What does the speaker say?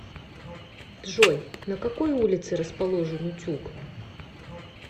джой на какой улице расположен утюг